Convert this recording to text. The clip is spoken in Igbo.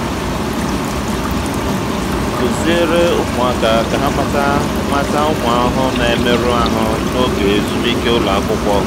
kụziere ụmụaka ka ha mata mata ụmụ ahụhụ na-emerụ ahụ n'oge ezumike ụlọ akwụkwọ.